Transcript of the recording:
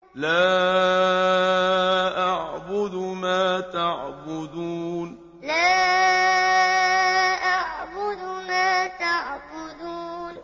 لَا أَعْبُدُ مَا تَعْبُدُونَ لَا أَعْبُدُ مَا تَعْبُدُونَ